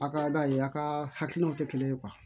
A ka ye a ka hakilinaw tɛ kelen ye